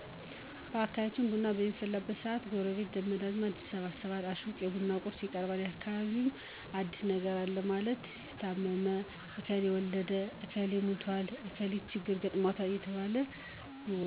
በአካባቢያችን ቡና በሚፈላበት ሰአት ጎረቤት ዘመድ አዝማድ ይሰበሰባል አቁቅ ለቡና ቁርስ ይቀርባል በአካባቢውምን አዲስ ነገር አለ ማን ታመመ እከሌ ወልዳለች እክሌ ሙቶል እከሊት ችግር ገጥሞታል እየተባለ ይወራል